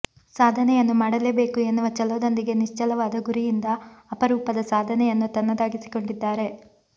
ಸಾಧನೆಯನ್ನು ಮಾಡಲೇ ಬೇಕು ಎನ್ನುವ ಛಲದೊಂದಿಗೆ ನಿಶ್ಚಲವಾದ ಗುರಿಯಿಂದ ಅಪರೂಪದ ಸಾಧನೆಯನ್ನು ತನ್ನದಾಗಿಸಿಕೊಂಡಿದ್ದಾರೆ